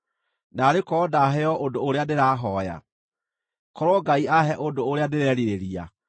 “Naarĩ korwo ndaheo ũndũ ũrĩa ndĩrahooya, korwo Ngai aahe ũndũ ũrĩa ndĩrerirĩria,